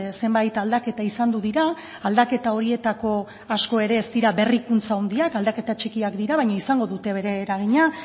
zenbait aldaketa izandu dira aldaketa horietako asko ere ez dira berrikuntza handiak aldaketa txikiak dira baina izango dute bere eragina